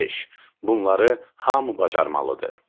Beş: Bunları hamı bacarmalıdır.